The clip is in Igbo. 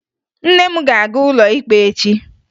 Nne m ga-aga ụlọ ikpe echi